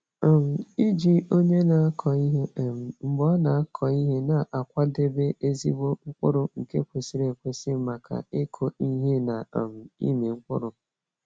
um Iji onye na-akọ ihe um mgbe ọ na-akọ ihe na-akwadebe ezigbo mkpụrụ nke kwesịrị ekwesị maka ịkụ ihe na um ịmị mkpụrụ.